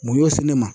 Mun y'o se ne ma